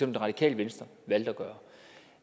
det radikale venstre valgte at gøre